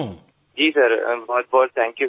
જી sir ખૂબ જ આભાર સાહેબ